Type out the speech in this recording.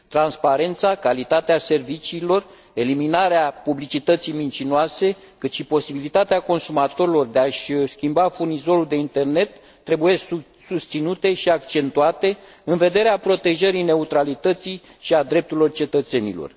Transparența, calitatea serviciilor, eliminarea publicității mincinoase, precum și posibilitatea consumatorilor de a și schimba furnizorul de internet trebuie susținute și accentuate în vederea protejării neutralității și a drepturilor cetățenilor.